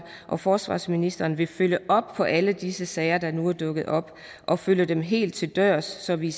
og forsvarsministeren vil følge op på alle disse sager der nu er dukket op og følge dem helt til dørs så vi